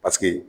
Paseke